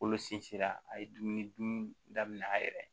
Kolo sinsin la a ye dumuni dun daminɛ a yɛrɛ ye